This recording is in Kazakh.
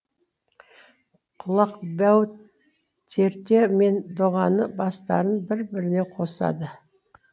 құлақбау терте мен доғаның бастарын бір біріне қосады